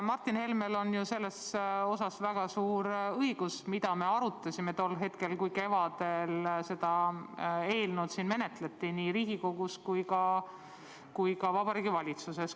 Martin Helmel on selles osas, mida me arutasime tol hetkel, kui kevadel seda eelnõu menetleti nii Riigikogus kui ka Vabariigi Valitsuses, suur õigus.